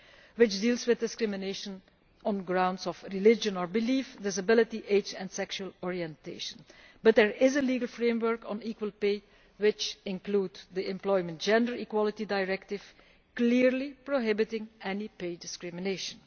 which deals with discrimination on grounds of religion or belief, disability, age and sexual orientation. But there is a legal framework on equal pay, which includes the Employment Gender Equality Directive, clearly prohibiting any pay discrimination.